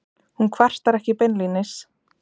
Hún kvartar ekki beinlínis.